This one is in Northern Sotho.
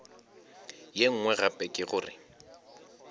ye nngwe gape ke gore